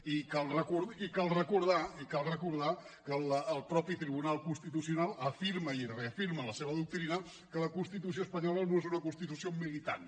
i cal recordar i cal recordar que el mateix tribunal constitucional afirma i reafirma en la seva doctrina que la constitució espanyola no és una constitució militant